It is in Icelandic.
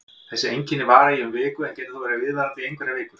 Þessi einkenni vara í um viku en geta þó verið viðvarandi í einhverjar vikur.